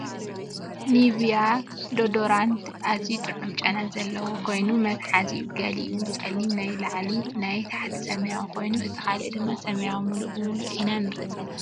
ኒቪያ ዶዶራንት ኣዝዩ ጥዑም ጨና ዛለዎ ኮይኑ መትሓዚኡ ገሊኡ ፀሊም ናይ ላዕሊ ናይ ታሕቱ ሰማያዊ ኮይኑ እቲ ካልእ ድማ ሰማያዊ ሙሉ ብሙሉእ ኢና ንርኢ ዘለና ።